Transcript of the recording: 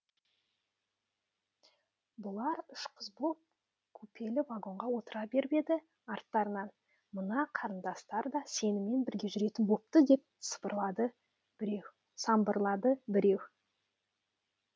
бұлар үш қыз боп купелі вагонға отыра беріп еді арттарынан мына қарындастар да сенімен бірге жүретін бопты деп самбырлады біреу